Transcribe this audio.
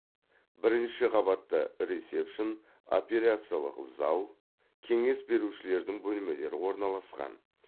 бірінші қабатта ресепшн операциялық зал кеңес берушілердің бөлмелері орналасқан